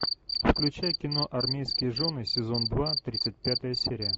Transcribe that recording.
включай кино армейские жены сезон два тридцать пятая серия